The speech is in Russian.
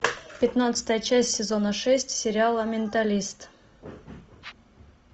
пятнадцатая часть сезона шесть сериала менталист